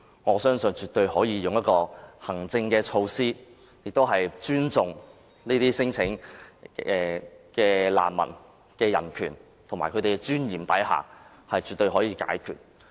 我相信透過行政措施，絕對可以在尊重提出難民聲請者的人權及尊嚴之下解決這問題。